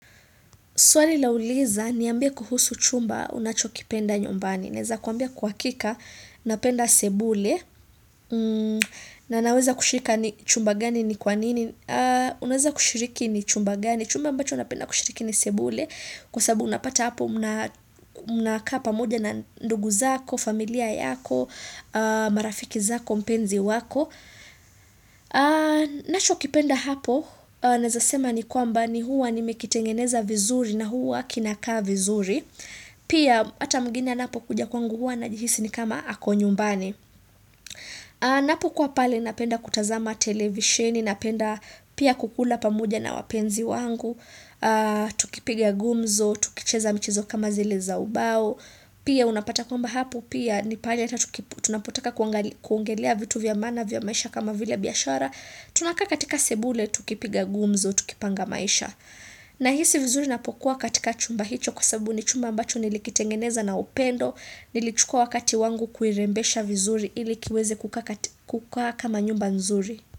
Swali lauliza, niambie kuhusu chumba, unachokipenda nyumbani. Naeza kuambia kwa hakika, napenda sebule, na naweza kushika ni chumba gani ni kwa nini. Unaweza kushiriki ni chumba gani, chumba ambacho napenda kushiriki ni sebule. Kwa sababu unapata hapo, mnakaa pamoja na ndugu zako, familia yako, marafiki zako, mpenzi wako. Nachokipenda hapo Naezasema ni kwamba ni huwa nimekitengeneza vizuri na huwa kinakaa vizuri Pia hata mgeni anapo kuja kwangu huwa anajihisi ni kama ako nyumbani Napokuwa pale napenda kutazama televisheni Napenda pia kukula pamoja na wapenzi wangu Tukipiga gumzo, tukicheza mchezo kama zile za ubao Pia unapata kwamba hapo pia ni pahali tunapotaka kuongelea vitu vya maana vya maisha kama vile biashara, tunakaa katika sebule, tukipiga gumzo, tukipanga maisha. Nahisi vizuri napokuwa katika chumba hicho kwa sababu ni chumba ambacho nilikitengeneza na upendo nilichukua wakati wangu kuirembesha vizuri ili kiweze kukaa kama nyumba nzuri.